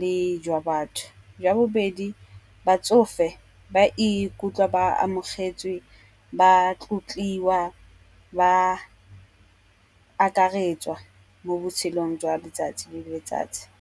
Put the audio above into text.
le jwa batho. Jwa bobedi batsofe ba ikutlwa ba amogetswe, ba tlotliwa, ba akaretswa mo botshelong jwa letsatsi le letsatsi.